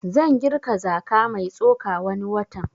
Zan girka zaka mai tsoka wani watan